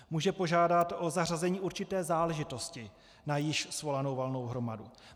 Může požádat o zařazení určité záležitosti na již svolanou valnou hromadu.